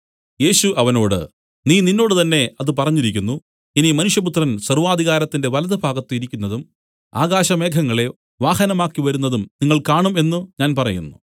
യേശു അവനോട് നീ നിന്നോട് തന്നെ അത് പറഞ്ഞിരിക്കുന്നു ഇനി മനുഷ്യപുത്രൻ സർവ്വാധികാരത്തിന്റെ വലത്തുഭാഗത്ത് ഇരിക്കുന്നതും ആകാശമേഘങ്ങളെ വാഹനമാക്കി വരുന്നതും നിങ്ങൾ കാണും എന്നു ഞാൻ പറയുന്നു